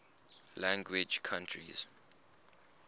language countries